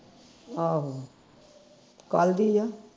ਆਹੋ ਕੱਲ ਦੀ ਆ